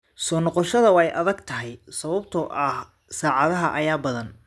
Soo noqoshada waa adag tahay sababtoo ah saacadaha ayaa badan?